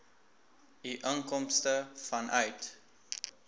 u inkomste vanuit